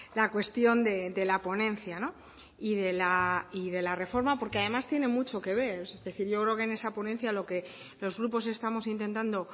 la cuestión de la ponencia y de la reforma porque además tiene mucho que ver yo creo que en esa ponencia lo que los grupos estamos intentando